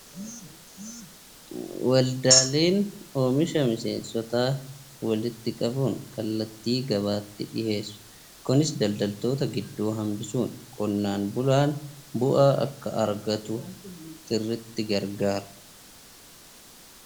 Waldaaleen oomisha miseensotaa walitti qabuun kallattii gabaatti dhiyeessudha. Kunis daldaltoota gidduu hambisuun qonnaan bulaan bu'aa akka argatu sirriitti gargaara.